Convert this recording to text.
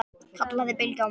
kallaði Bylgja á móti.